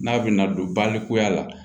N'a bɛna don balikuya la